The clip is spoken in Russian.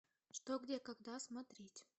что где когда смотреть